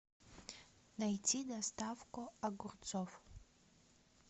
найти доставку огурцов